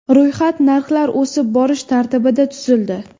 Ro‘yxat narxlar o‘sib borish tartibida tuzildi.